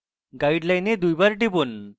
guideline দুইবার টিপুন